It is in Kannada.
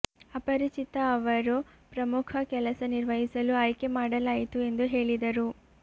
ಅಪರಿಚಿತ ಅವರು ಪ್ರಮುಖ ಕೆಲಸ ನಿರ್ವಹಿಸಲು ಆಯ್ಕೆ ಮಾಡಲಾಯಿತು ಎಂದು ಹೇಳಿದರು